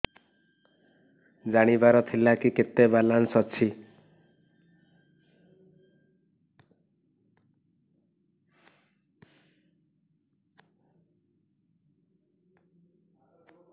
ଜାଣିବାର ଥିଲା କି କେତେ ବାଲାନ୍ସ ଅଛି